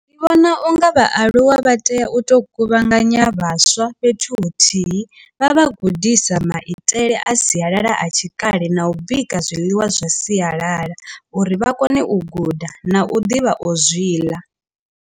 Ndi vhona unga vhaaluwa vha tea u to kuvhanganya vhaswa fhethu huthihi vha vha gudisa maitele a sialala a tshikale na u bika zwiḽiwa zwa siyalala uri vha kone u guda na u ḓivha u zwi ḽa.